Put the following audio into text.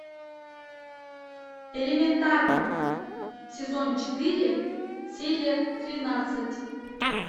элементарно сезон четыре серия тринадцать